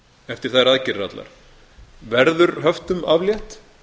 eftir þær aðgerðir allar verður höftum aflétt